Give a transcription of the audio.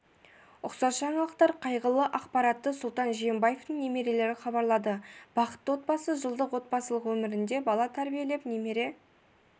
ұқсас жаңалықтар қайғылы ақпаратты сұлтан жиенбаевтың немерелері хабарлады бақытты отбасы жылдық отбасылық өмірінде бала тәрбиелеп немере